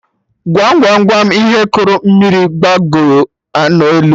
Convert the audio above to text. Gwam Gwam Gwam ihe kuru mmiri gbagoo na elu?